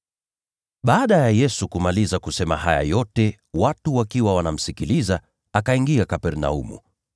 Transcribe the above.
Baada ya Yesu kumaliza kusema haya yote watu wakiwa wanamsikiliza, akaingia Kapernaumu.